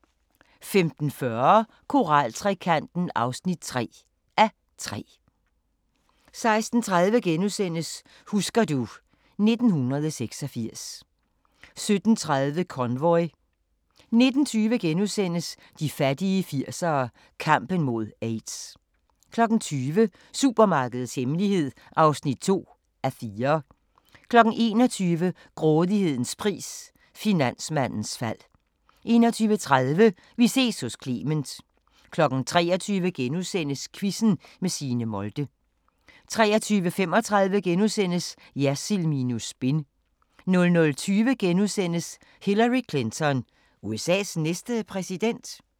15:40: Koraltrekanten (3:3) 16:30: Husker du ... 1986 * 17:30: Convoy 19:20: De fattige 80'ere: Kampen mod AIDS * 20:00: Supermarkedets hemmelighed (2:4) 21:00: Grådighedens pris – finansmandens fald 21:30: Vi ses hos Clement 23:00: Quizzen med Signe Molde * 23:35: Jersild minus spin * 00:20: Hillary Clinton – USA's næste præsident? *